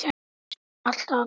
Alltaf að hjálpa til.